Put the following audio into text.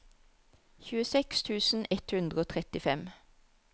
tjueseks tusen ett hundre og trettifem